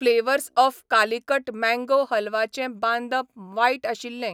Flavours of Calicut mango हलवाचें बांदप वायट आशिल्लें.